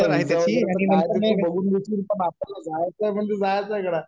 पण आपल्याला जायचंय म्हणजे जायचंय